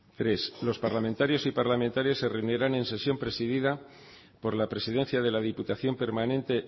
tres los parlamentarios y parlamentarias se reunirán en sesión presidida por la presidencia de la diputación permanente